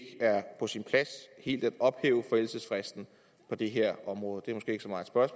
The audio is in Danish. er på sin plads helt at ophæve forældelsesfristen på det her område